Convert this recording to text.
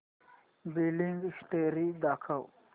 billing history दाखव